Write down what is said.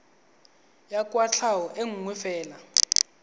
ya kwatlhao e nngwe fela